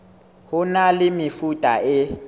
ho na le mefuta e